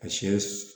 A siyɛn